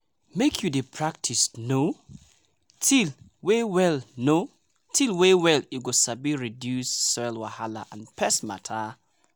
bury dem sick crops well well make we no let pest wahala continue.